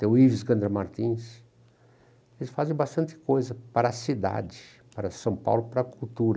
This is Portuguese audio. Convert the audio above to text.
Tem o Ives Martins, eles fazem bastante coisa para a cidade, para São Paulo, para a cultura.